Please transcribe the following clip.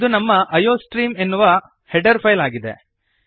ಇದು ನಮ್ಮ ಐಯೋಸ್ಟ್ರೀಮ್ ಎನ್ನುವ ಹೆಡರ್ ಫೈಲ್ ಆಗಿದೆ